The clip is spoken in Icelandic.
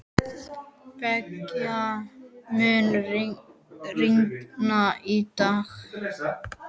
Begga, mun rigna í dag?